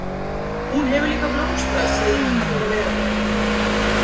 Hún hefur líka blómstrað síðan hún fór að vera með honum.